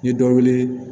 N ye dɔ weele